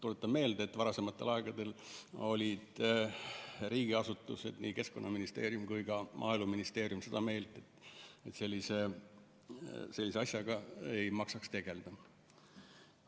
Tuletan meelde, et varasematel aegadel olid riigiasutused, nii Keskkonnaministeerium kui ka Maaeluministeerium, seda meelt, et sellise asjaga ei maksaks tegelda.